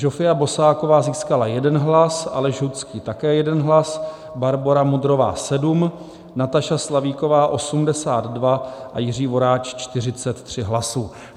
Žofia Bosáková získala jeden hlas, Aleš Hudský také jeden hlas, Barbora Mudrová 7, Nataša Slavíková 82 a Jiří Voráč 43 hlasů.